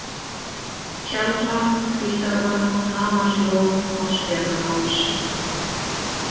Tjaldvatn, Hvítárvatn, Hamarslón, Vatnsfjarðarháls